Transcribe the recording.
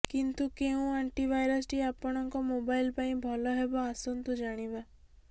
କିନ୍ତୁ କେଉଁ ଆଣ୍ଟିଭାଇରସ ଟି ଆପଣଙ୍କ ମୋବାଇଲ ପାଇଁ ଭଲ ହେବ ଆସନ୍ତୁ ଜାଣିବା